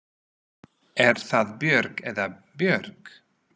Er það Björg eða Björg?